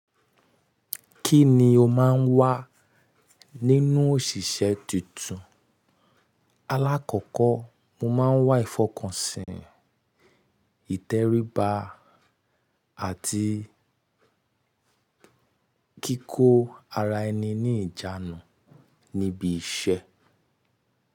Kí ni o máa ń wá nínú òṣìṣẹ́ tuntun? Alákọ̀kọ́, mo máa ń wá ìfọkànsìn, ìtẹríba àti kíkó ara ẹni ní ìjánu níbi iṣẹ́.